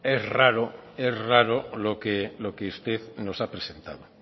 es raro lo que usted nos ha presentado